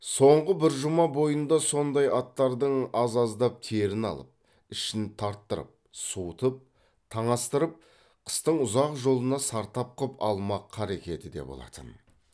соңғы бір жұма бойында сондай аттардың аз аздап терін алып ішін тарттырып суытып таңастырып қыстың ұзақ жолына сартап қып алмақ қарекеті де болатын